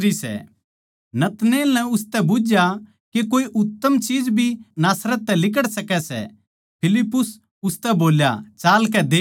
नतनएल नै उसतै बुझ्झया के कोए उत्तम चीज भी नासरत तै लिकड़ सकै सै फिलिप्पुस उसतै बोल्या चालकै देख ले